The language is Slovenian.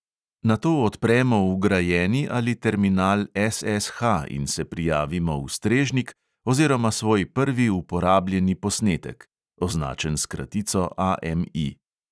Nato odpremo vgrajeni ali terminal SSH in se prijavimo v "strežnik" oziroma svoj prvi uporabljeni posnetek (označen s kratico AMI).